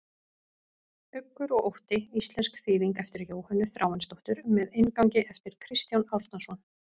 Uggur og ótti, íslensk þýðing eftir Jóhönnu Þráinsdóttur með inngangi eftir Kristján Árnason.